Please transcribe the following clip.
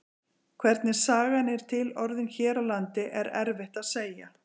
Hvernig sagan er til orðin hér á landi er erfitt að segja.